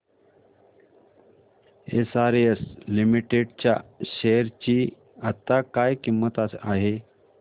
SRS limited च्या share ची आता काय किंमत आहे